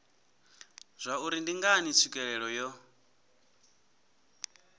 zwauri ndi ngani tswikelelo yo